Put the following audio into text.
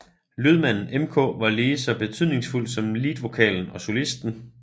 Lydmanden MK var lige så betydningsfuld som leadvokalen og solisten